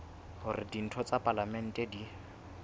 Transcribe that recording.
hore ditho tsa palamente di